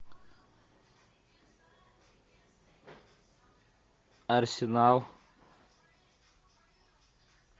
арсенал